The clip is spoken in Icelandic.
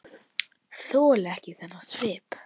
Þoli ekki þennan svip.